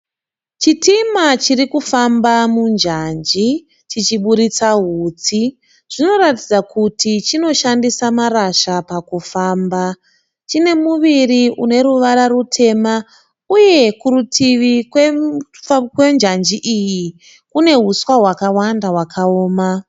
Chitima chiri kufamba munjanji chichiburitsa hutsi. Zvinoratidza kuti chinoshandisa marasha pakufamba. Chine muviri une ruvara rutema uye kurutivi kwenjanji iyi kune huswa hwakawanda hwakaoma.